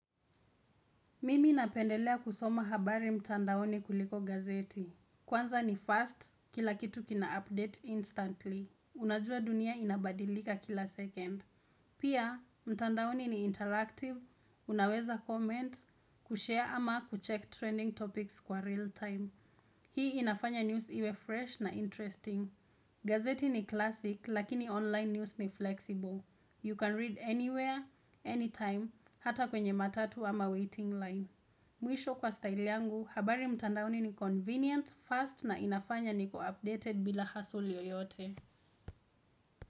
Mimi napendelea kusoma habari mtandaoni kuliko gazeti. Kwanza ni fast, kila kitu kina update instantly. Unajua dunia inabadilika kila second. Pia, mtandaoni ni interactive, unaweza comment, kushare ama kucheck trending topics kwa real time. Hii inafanya news iwe fresh na interesting. Gazeti ni classic, lakini online news ni flexible. You can read anywhere, anytime, hata kwenye matatu ama waiting line. Mwisho kwa style yangu, habari mtandaoni ni convenient, fast na inafanya niko updated bila hassle yoyote.